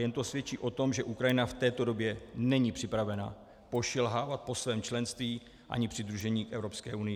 Jen to svědčí o tom, že Ukrajina v této době není připravena pošilhávat po svém členství ani přidružení k Evropské unii.